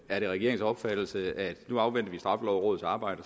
er det regeringens opfattelse at nu afventer vi straffelovrådets arbejde